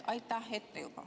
Aitäh juba ette!